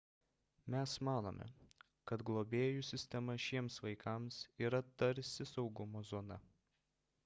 mes manome kad globėjų sistema šiems vaikams yra tarsi saugumo zona